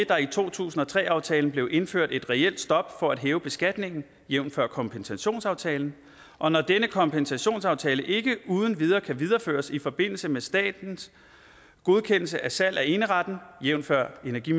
der i to tusind og tre aftalen blev indført et reelt stop for at hæve beskatningen jævnfør kompensationsaftalen og når denne kompensationsaftale ikke uden videre kan videreføres i forbindelse med statens godkendelse af salg af eneretten jævnfør energi